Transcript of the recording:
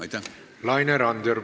Laine Randjärv, palun!